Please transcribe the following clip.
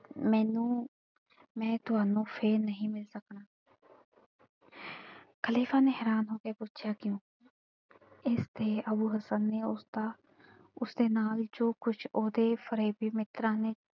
ਮੈਨੂੰ ਮੈਂ ਤੁਹਾਨੂੰ ਫੇਰ ਨਹੀਂ ਮਿਲ ਸਕਣਾ ਖ਼ਲੀਫ਼ੇ ਨੇ ਹੈਰਾਨ ਹੋ ਕੇ ਪੁੱਛਿਆ ਕਿਉਂ ਇਸ ਤੇ ਅੱਬੂ ਹਸਨ ਉਸਦਾ ਉਸਦੇ ਨਾਲ ਜੋ ਕੁਝ ਉਹਦੇ ਫ਼ਰੇਬੀ ਮਿੱਤਰਾਂ ਨੇ,